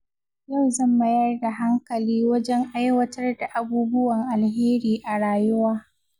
Yau zan mayar da hankali wajen aiwatar da abubuwan alheri a rayuwa.